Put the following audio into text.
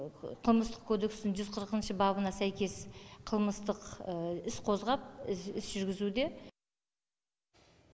қылмыстық кодекстің жүз қырқыншы бабына сәйкес қылмыстық іс қозғап іс жүргізуде